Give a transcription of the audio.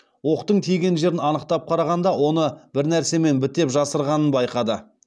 оқтың тиген жерін анықтап қарағанда оны бір нәрсемен бітеп жасырғанын байқады